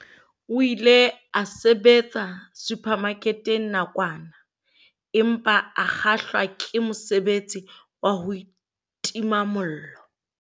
O ile a sebetsa suphamaketeng nakwana empa a kgahlwa ke mosebetsi wa ho tima mollo.